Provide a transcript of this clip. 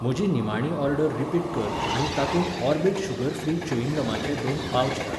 म्हजी निमाणी order repeat कर आनी तातूंत ऑर्बिट शुगर फ्री च्युयिंग गमाचे दोन पावच घाल.